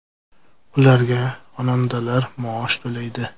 Ularga xonandalar maosh to‘laydi.